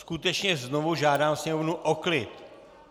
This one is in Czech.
Skutečně znovu žádám sněmovnu o klid!